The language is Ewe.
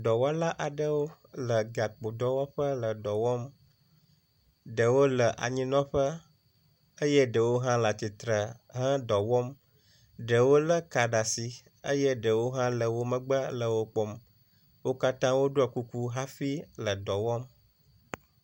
Dɔwɔla aɖewo le gakpo dɔwɔƒe le dɔ wɔm. Ɖewo le anyinɔƒe eye ɖewo hã le atsitre he dɔ wɔm. Ɖewo lé ka ɖe asi eye ɖewo hã le wo megbe le wo kpɔm. Wo katã woɖɔ kuku hafi le dɔ wɔm.